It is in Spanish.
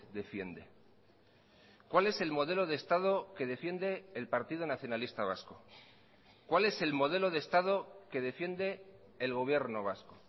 defiende cuál es el modelo de estado que defiende el partido nacionalista vasco cuál es el modelo de estado que defiende el gobierno vasco